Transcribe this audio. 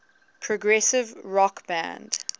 progressive rock band